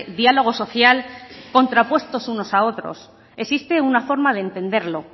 diálogo social contrapuestos unos a otros existe una forma de entenderlo